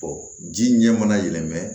ji ɲɛ mana yɛlɛmɛ